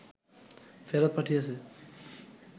ফেরত পাঠিয়েছে